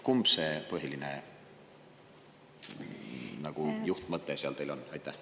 Kumb see põhiline juhtmõte nagu on?